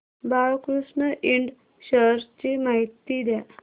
Balkrishna Ind shares ची माहिती द्या